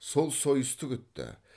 сол сойысты күтті